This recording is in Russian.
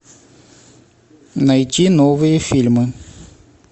найти новые фильмы